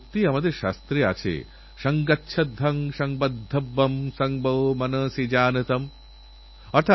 হারজিত নিশ্চয়ই গুরুত্বপূর্ণ কিন্তু সেইসঙ্গে এই প্রতিযোগিতারস্তর পর্যন্ত পৌঁছনো তার চেয়েও অনেক গুরুত্বপূর্ণ